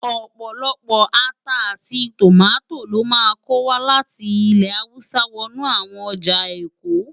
Opólópó átá áti tómátó lò má nkó wá láti ilè háwùsá wònú áwòn òjá ékó.